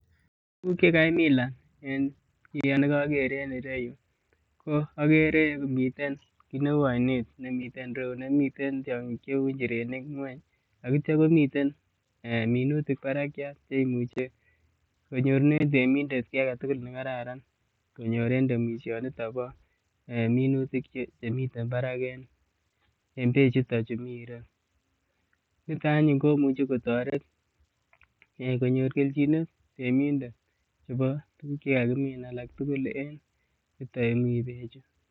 Tuguk che kaimilan en koger En ireyu, ko agere miten kiit neu oinet nemiten in ireyu nemiten tiongik cheu njirenik ngueny, ak ityo komitei minutik barakiat che imuche konyorune temindet kiy age tugul ne Kararan konyor en temisionito bo minutik chemiten barak en beechuto chu mi en reu, nito anyun komuch kotoret konyor keljinet temindet chebo tuguk che kakimin alak tugul en yuton ye mi beechu.